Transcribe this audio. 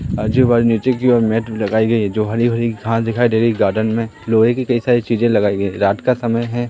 आजू-बाजू नीचे की ओर मैट भी लगाई गई है जो हरी-भरी घास दिखाई दे रही है गार्डन में लोहे की कई सारी चीजे लगाई गई है रात का समय है।